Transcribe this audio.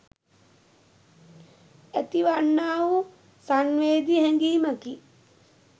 ඇති වන්නා වූ සංවේදී හැඟීමකි.